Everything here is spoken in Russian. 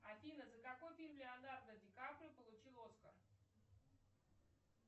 афина за какой фильм леонардо ди каприо получил оскар